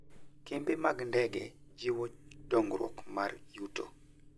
Kembe mag ndege jiwo dongruok mar yuto.